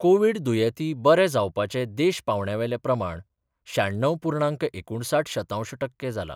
Covid दुयेंती बरे जावपाचे देश पांवड्या वेले प्रमाण श्याण्णव पूर्णांक एकुणसाठ शतांश टक्के जाला.